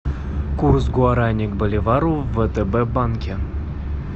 курс гуарани к боливару в втб банке